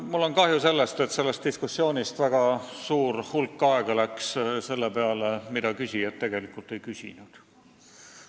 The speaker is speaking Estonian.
Mul on kahju, et selles diskussioonis läks hulk aega selle peale, mida küsijad tegelikult ei küsinud.